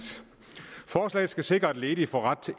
forslaget skal sikre at ledige får ret til